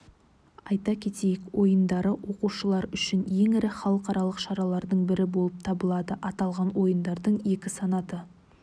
айта кетейік ойындары оқушылар үшін ең ірі халықаралық шаралардың бірі болып табылады аталған ойындардың екі санаты